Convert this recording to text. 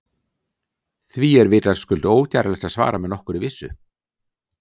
Því er vitaskuld ógerlegt að svara með nokkurri vissu.